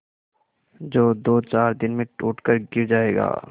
जो दोचार दिन में टूट कर गिर जाएगा